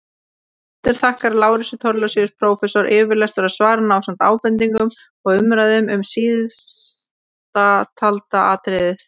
Höfundur þakkar Lárusi Thorlacius prófessor yfirlestur á svarinu ásamt ábendingum og umræðum um síðasttalda atriðið.